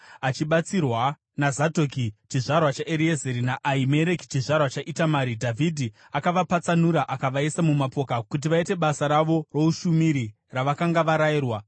Achibatsirwa naZadhoki chizvarwa chaEreazari naAhimereki chizvarwa chaItamari, Dhavhidhi akavapatsanura akavaisa mumapoka kuti vaite basa ravo roushumiri ravakanga varayirwa.